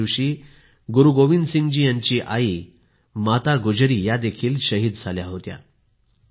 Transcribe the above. या दिवशी गुरु गोविंदसिंग जी यांची आई गुजरी या देखील शहीद झाल्या होत्या